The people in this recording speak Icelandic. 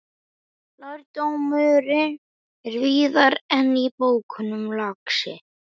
Lærdómurinn er víðar en í bókunum, lagsi.